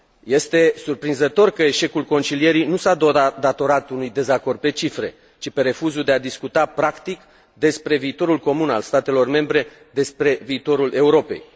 Este surprinzător că eșecul concilierii nu s a datorat unui dezacord pe cifre, ci refuzului de a discuta practic despre viitorul comun al statelor membre, despre viitorul Europei.